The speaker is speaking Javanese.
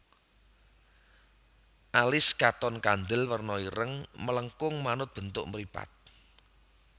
Alis katon kandel werna ireng melengkung manut bentuk mripat